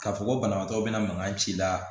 K'a fɔ ko banabagatɔ bɛna mankan ci la